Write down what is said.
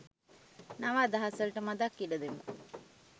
නව අදහස් වලට මදක් ඉඩ දෙමු